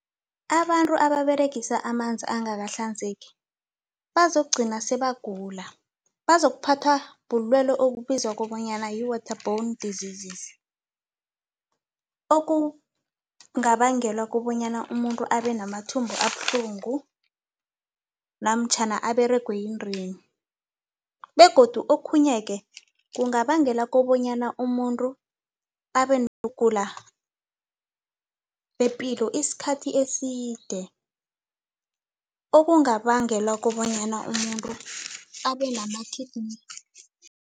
Abantu ababeregisa amanzi angakahlanzeki bazokugcina sebagula, bazokuphathwa bulwelwe okubizwa kobanyana yi-water bourne diseases okungabangela kobanyana umuntu abe namathumbu abuhlungu namtjhana aberegwe yindeni begodu okhunye ke, kungabangela kobanyana umuntu abe nokugula bepilo isikhathi eside okungabangela kobanyana umuntu abe nama-kidney